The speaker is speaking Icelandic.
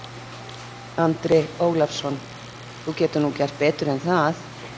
Andri Ólafsson: Þú getur nú gert betur en það?